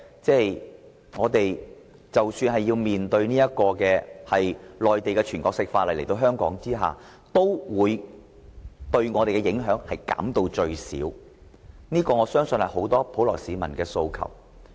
即使我們要面對在香港行使內地的全國性法律，也要把影響減至最少，我相信這是很多普羅市民的訴求。